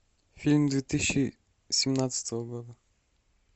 фильм две тысячи семнадцатого года